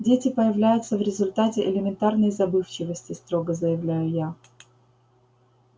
дети появляются в результате элементарной забывчивости строго заявляю я